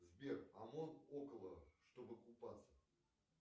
сбер омон около чтобы купаться